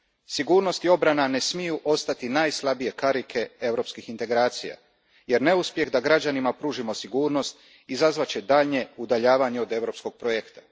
Sigurnost i obrana ne smiju ostati najslabije karike europskih integracija jer neuspjeh da građanima pružimo sigurnost izazvat će daljnje udaljavanje od europskog projekta.